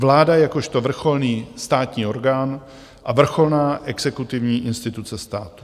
Vláda jakožto vrcholný státní orgán a vrcholná exekutivní instituce státu.